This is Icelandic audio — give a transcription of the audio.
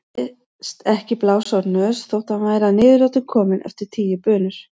Þóttist ekki blása úr nös þó að hann væri að niðurlotum kominn eftir tíu bunur.